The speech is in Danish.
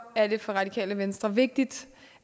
er det for radikale venstre vigtigt